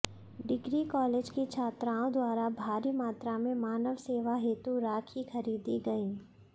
degree college की छात्राओं द्वारा भारी मात्रा में मानव सेवा हेतु राखी खरीदी गयीं